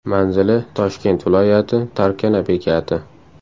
manzili Tashkent viloyati, Tarkana bekati.